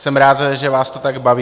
Jsem rád, že vás to tak baví.